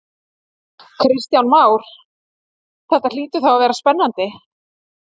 Kristján Már: Þetta hlýtur þá að vera spennandi?